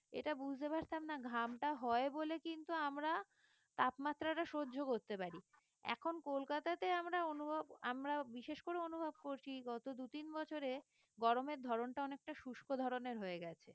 এটা বুঝতে পারতাম না ঘামটা হয় বলে কিন্তু আমরা তাপমাত্রাটা সহ্য করতে পারি এখন কলকাতাতে আমরা অনুভব আমরা বিশেষ করে অনুভব করছি গত দু-তিন বছরে গরমের ধরনটা অনেকটা শুষ্ক ধরনের হয়ে গেছে